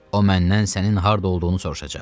O məndən sənin harda olduğunu soruşacaq.